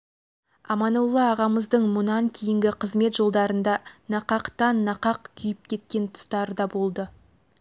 аманолла ағамыздың мұнан кейінгі қызмет жолдарында нақақтан нақақ күйіп кеткен тұстары да болды